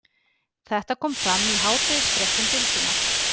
Þetta kom fram í hádegisfréttum Bylgjunnar